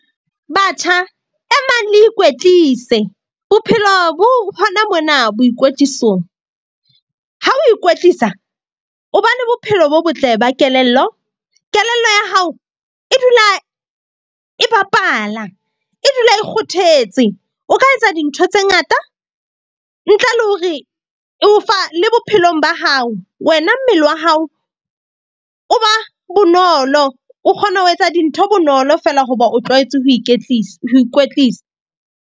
Batjha e mang le ikwetlise bophelo bo hona mona boikwetlisong. Ha o ikwetlisa o ba le bophelo bo botle ba kelello. Kelello ya hao e dula e bapala, e dula e kgothetse. O ka etsa dintho tse ngata ntle le hore e o fa le bophelong ba hao. Wena mmele wa hao o ba bonolo, o kgona ho etsa dintho bonolo fela. Hoba o tlwaetse ho ho ikwetlisa.